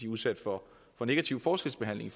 udsat for negativ forskelsbehandling